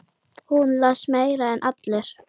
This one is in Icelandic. Hún les meira en allir.